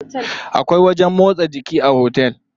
Akwai wajen motsa jiki a otel.